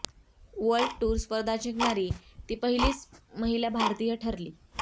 world tour स्पर्धा जिंकणारी ती पहिलीच भारतीय महिला ठरली